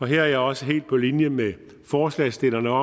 her er jeg også helt på linje med forslagsstillerne og